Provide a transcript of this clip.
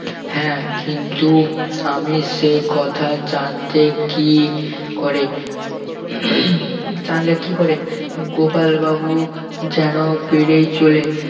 হ্যাঁ কিন্তু আমি সে কথা জানতে কি করে জানলে কি করে গোপাল বাবু যেন বেড়েই চলে